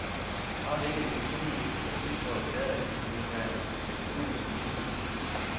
Har vi ikke en kulturminister, der sidste år erklærede, at hun ville være arkitekturens minister?